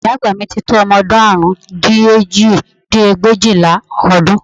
Ìyá àgbà ti tó ọmọ ọdún àrún dín ní òjì dín ní ẹgbẹ̀éjìlá ọdún